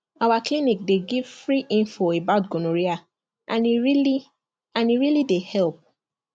our clinic dey give free info about gonorrhea and e really and e really dey help